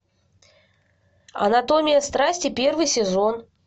анатомия страсти первый сезон